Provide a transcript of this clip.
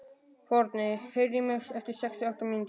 Forni, heyrðu í mér eftir sextíu og átta mínútur.